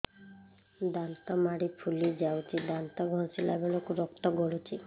ଦାନ୍ତ ମାଢ଼ୀ ଫୁଲି ଯାଉଛି ଦାନ୍ତ ଘଷିଲା ବେଳକୁ ରକ୍ତ ଗଳୁଛି